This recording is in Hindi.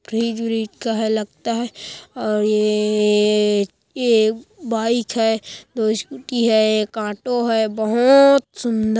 फ़्रिज व्रिज का है लगता है और येएएएएए ये एक बाइक है दो स्कूटी है एक ऑटो है बहोओत सुन्दर।